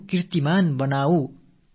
சாதனை படைப்போம்